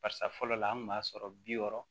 Barisa fɔlɔ la an kun b'a sɔrɔ bi wɔɔrɔ